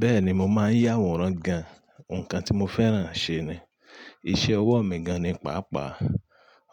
Bẹ́ẹ̀ni, mo máa ń yà àwòrán gan. Nǹkan tí mo fẹ́ràn ṣe ni. Iṣẹ́ ọwọ́ mi gan ni paapaa.